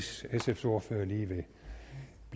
er det